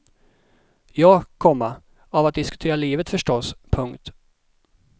Ja, komma av att diskutera livet förstås. punkt